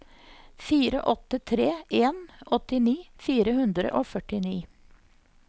fire åtte tre en åttini fire hundre og førtini